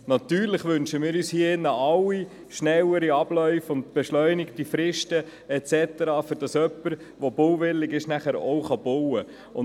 Sicher wünschen wir uns hier alle im Saal schnellere Abläufe und beschleunigte Fristen, damit jemand, der bauwillig ist, dann wirklich auch bauen kann.